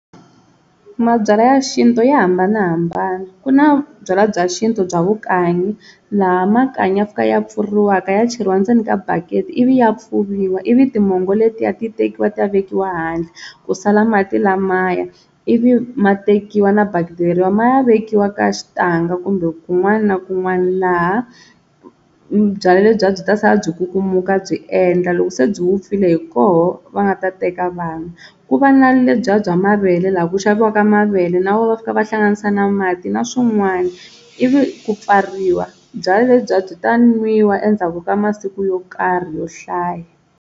Mabyalwa ya xintu ya hambanahambana ku na byalwa bya xintu bya vukanyi laha makanyi ya pfa ya pfuriwaka ya cheriwa ndzeni ka bakete ivi ya pfuviwa ivi timongo letiya ti tekiwa ti ya vekiwa handle ku sala mati lamaya ivi ma tekiwa na bakiti leriya ma ya vekiwa ka xitanga kumbe kun'wana na kun'wana laha byalwa lebyiya byi ta sala byi kukumuka byi endla loko se byi vupfile hi koho va nga ta teka vanwa, ku va na lebyiya bya mavele laha ku xaviwaka mavele na woho va fika va hlanganisa na mati na swin'wana ivi ku pfariwa, byala lebyiya byi ta nwiwa endzhaku ka masiku yo karhi yo hlaya.